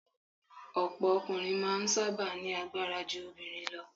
Ọ̀pọ̀ ọkùnrin máa ń sábà ní agbára ju obìnrin lọ